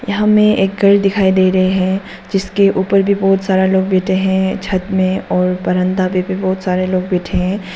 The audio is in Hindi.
हमें एक घर दिखाई दे रहें हैं जिसके ऊपर भी बहुत सारा लोग बैठे हैं छत में और बरांदा में भी बहुत सारे लोग बैठे हैं।